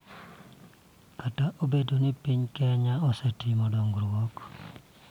Kata obedo ni piny Kenya osetimo dongruok .